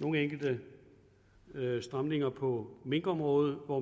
nogle enkelte stramninger på minkområdet hvor